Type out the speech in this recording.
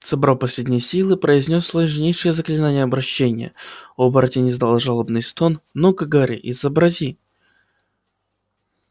собрал последние силы произнёс сложнейшее заклинание обращения оборотень издал жалобный стон ну-ка гарри изобрази